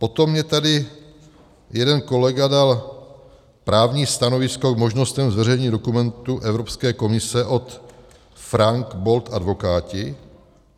Potom mně tady jeden kolega dal právní stanovisko k možnostem zveřejnění dokumentu Evropské komise od Frank Bold Advokáti.